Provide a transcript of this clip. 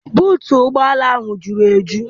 Buutu ụgbọala ahụ jụrụ eju.